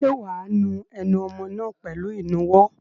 Ṣé wà á nu ẹnu ọmọ náà pẹ̀lú ìnuwọ́?